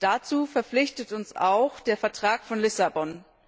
Dazu verpflichtet uns auch der Vertrag von Lissabon.